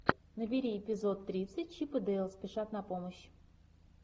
набери эпизод тридцать чип и дейл спешат на помощь